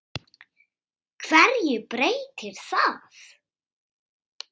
HVERJU BREYTIR ÞAÐ?